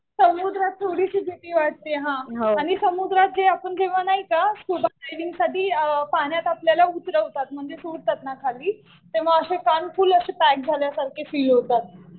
समुद्रात थोडीशी भीती वाटते. हा हा. आणि समुद्रात जे आपण जेव्हा नाही का स्कुबा डायविंग साठी पाण्यात आपल्याला उतरवतात म्हणजे सोडतात ना खाली तेव्हा कान फुल असे टाईट झाल्यासारखर फील होतात.